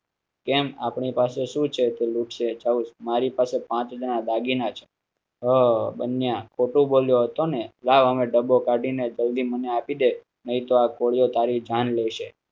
કેમ આપ ની પાસે શું છે તે મારી પાસે પાંચ હાજર ના દાગીના છે. ઓ બન્યા. ખોટું બોલ્યતા ને લાવ ડબો કાઢી ને જલ્દી મને આપી દે નહિ તો આ કોળીઓ તારી જાન લેશે.